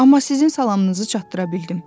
Amma sizin salamınızı çatdıra bildim.